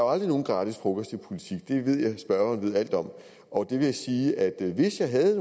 aldrig nogen gratis frokost i politik det ved jeg at spørgeren ved alt om og jeg vil sige at hvis jeg havde